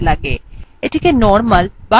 এটিকে normal বা স্বাভাবিক view বলে